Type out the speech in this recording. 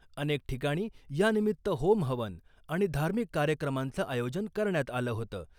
अनेक ठिकाणी यानिमित्त होम हवन आणि धार्मिक कार्यक्रमांचं आयोजन करण्यात आलं होतं .